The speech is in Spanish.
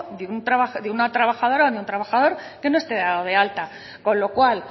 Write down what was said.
de trabajo de una trabajadora o de un trabajador que no esté dado de alta con lo cual